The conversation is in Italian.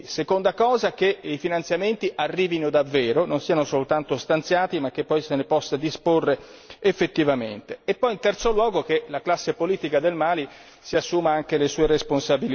seconda cosa, che i finanziamenti arrivino davvero, non siano soltanto stanziati, ma che poi se ne possa disporre effettivamente e poi in terzo luogo che la classe politica del Mali si assuma anche le sue responsabilità.